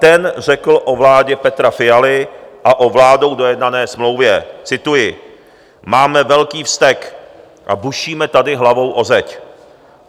Ten řekl o vládě Petra Fialy a o vládou dojednané smlouvě - cituji: Máme velký vztek a bušíme tady hlavou o zeď.